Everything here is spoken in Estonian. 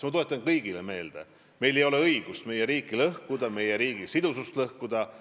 Ma tuletan kõigile meelde: meil ei ole õigust meie riiki lõhkuda, meie riigi sidusust lõhkuda.